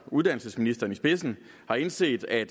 uddannelsesministeren i spidsen har indset at